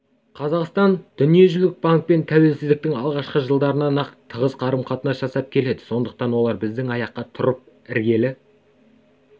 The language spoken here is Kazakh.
қазақстан дүниежүзілік банкпен тәуелсіздіктің алғашқы жылдарынан-ақ тығыз қарым-қатынас жасап келеді сондықтан олар біздің аяққа тұрып іргелі